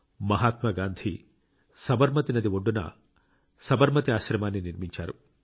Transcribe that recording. మహాత్మాగాంధీ సబర్మతి నది ఒడ్డున సబర్మతి ఆశ్రమాన్ని నిర్మించారు